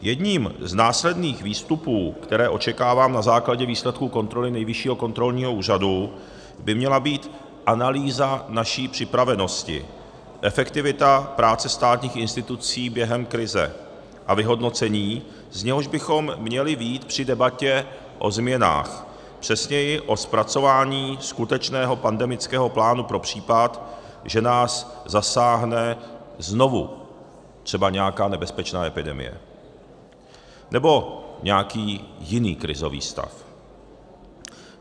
Jedním z následných výstupů, které očekávám na základě výsledků kontroly Nejvyššího kontrolního úřadu, by měla být analýza naší připravenosti, efektivita práce státních institucí během krize a vyhodnocení, z něhož bychom měli vyjít při debatě o změnách, přesněji o zpracování skutečného pandemického plánu pro případ, že nás zasáhne znovu třeba nějaká nebezpečná epidemie nebo nějaký jiný krizový stav.